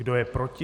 Kdo je proti?